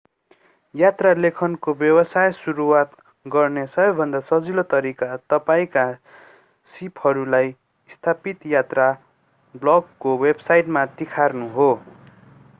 यात्रा लेखनको व्यवसाय सुरुवात गर्ने सबैभन्दा सजिलो तरिका तपाईंका सीपहरूलाई स्थापित यात्रा ब्लगको वेबसाइटमा तिखार्नु हो